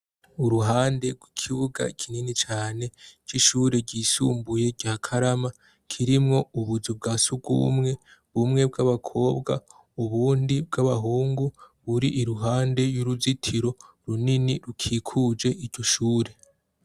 Uruhande gw'ikibuga c'ishure ryisumbuye ryakarama kirimwo ubuzu bwasugwumwe bumwe bw'abakobwa ubundi bw'abahungu. Buri iruhande y'uruzitiro runini rukikuje iryoshure.